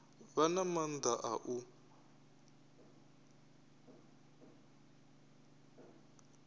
vha na maanḓa a u